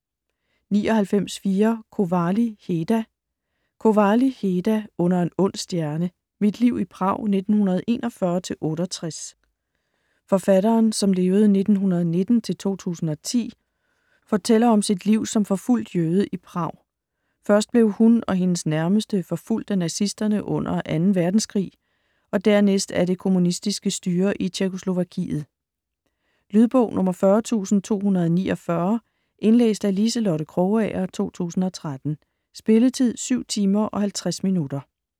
99.4 Kovály, Heda Kovály, Heda: Under en ond stjerne: mit liv i Prag 1941-1968 Forfatteren (1919-2010) fortælleren om sit liv som forfulgt jøde i Prag. Først blev hun og hendes nærmeste forfulgt af nazisterne under 2. verdenskrig og dernæst af det kommunistiske styre i Tjekkoslovakiet. Lydbog 40249 Indlæst af Liselotte Krogager, 2013. Spilletid: 7 timer, 50 minutter.